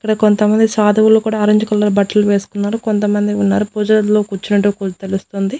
ఇక్కడ కొంతమంది సాధువులు కూడా ఆరెంజ్ కలర్ బట్టలు వేసుకున్నారు కొంతమంది ఉన్నారు పూజ గదిలో కూర్చున్నట్టు తెలుస్తుంది.